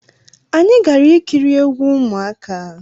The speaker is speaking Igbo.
Anyi gara ikiri egwu ụmụaka